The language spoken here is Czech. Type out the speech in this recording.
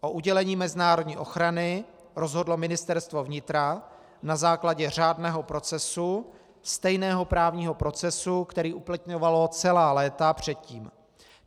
O udělení mezinárodní ochrany rozhodlo Ministerstvo vnitra na základě řádného procesu, stejného právního procesu, který uplatňovalo celá léta předtím.